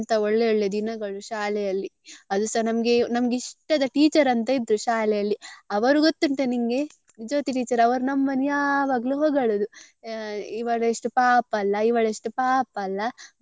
ಅಂತ ಒಳ್ಳೆ ಒಳ್ಳೆ ದಿನಗಳು ಶಾಲೆಯಲ್ಲಿ ಅದುಸ ನಮ್ಗೆ ನಮ್ಗೆ ಇಷ್ಟದ teacher ಅಂತ ಇದ್ರು ಶಾಲೆಯಲ್ಲಿ ಅವರು ಗೊತ್ತುಂಟಾ ನಿಂಗೆ ಜ್ಯೋತಿ teacher ಅವರು ನಮ್ಮನ್ನು ಯಾವಾಗ್ಲೂ ಹೊಗಳುದು ಇವಳೆಷ್ಟು ಪಾಪ ಅಲ್ಲ ಇವಳೆಷ್ಟು ಪಾಪ ಅಲ್ಲ.